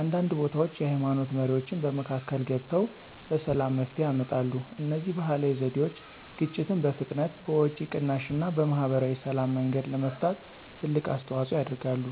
አንዳንድ ቦታዎች የሃይማኖት መሪዎችም በመካከል ገብተው በሰላም መፍትሄ ያመጣሉ። እነዚህ ባህላዊ ዘዴዎች ግጭትን በፍጥነት፣ በወጪ ቅናሽ እና በማህበራዊ ሰላም መንገድ ለመፍታት ትልቅ አስተዋፅኦ ያደርጋሉ።